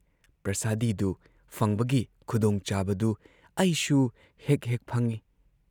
ꯄ꯭ꯔꯁꯥꯗꯤꯗꯨ ꯐꯪꯕꯒꯤ ꯈꯨꯗꯣꯡꯆꯥꯕꯗꯨ ꯑꯩꯁꯨ ꯍꯦꯛ ꯍꯦꯛ ꯐꯪꯏ ꯫